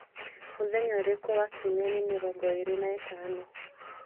mũthenya ũrĩkũ wa kiumia nĩ mĩrongo ĩĩrĩ na ĩtano